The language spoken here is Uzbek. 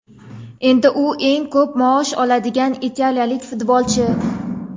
Endi u eng ko‘p maosh oladigan italiyalik futbolchi.